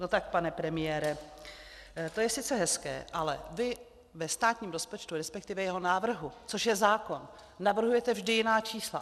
No tak pane premiére, to je sice hezké, ale vy ve státním rozpočtu, respektive jeho návrhu, což je zákon, navrhujete vždy jiná čísla.